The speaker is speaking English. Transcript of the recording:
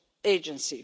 agency.